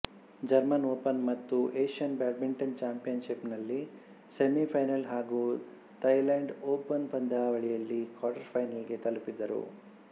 German open ಮತ್ತು Asian badminton ಚಾಂಪಿಯನ್ಶಿಪ್ನಲ್ಲಿ semifinal ಹಾಗೂ ಥೈಲ್ಯಾಂಡ್ ಓಪನ್ ಪಂದ್ಯಾವಳಿಯಲ್ಲಿ ಕ್ವಾರ್ಟರ್ಫೈನಲ್ಸ್ ತಲುಪಿದರು